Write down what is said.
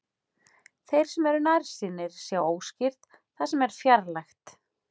Þeir sem eru nærsýnir sjá óskýrt það sem er fjarlægt.